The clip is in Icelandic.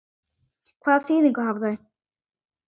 Hvaða þýðingu hafa þau?